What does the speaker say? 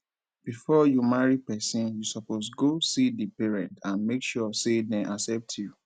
before you marry persin you suppose go see di parents and make sure say dem accept you